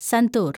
santoor